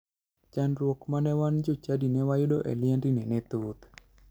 Chandruok ma ne wan jochadi ne wayudo e liendni ne thoth.